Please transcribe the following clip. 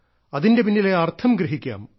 അതിന്റെ പിന്നിലെ അർത്ഥം ഗ്രഹിക്കാം